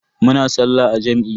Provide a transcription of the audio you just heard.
Muna sallah a jam'i.